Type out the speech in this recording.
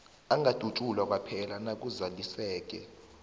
angadutjulwa kwaphela nakuzaliseke